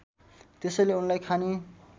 त्यसैले उनलाई खानी